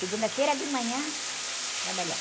Segunda-feira de manhã, trabalhar.